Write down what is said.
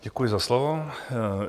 Děkuji za slovo.